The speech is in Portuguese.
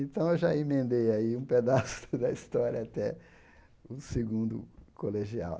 Então eu já emendei aí um pedaço da história até o segundo colegial.